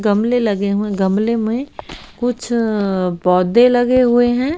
गमले लगे हुए हैं गमले में कुछ पौधे लगे हुए हैं।